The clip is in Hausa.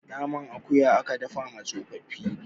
naman akuya aka dafa wa tsofaffi